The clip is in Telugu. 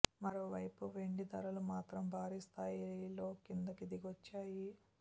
మరో వైపు వెండి ధరలు మాత్రం భారీ స్థాయిలో కిందికి దిగోచ్చాయి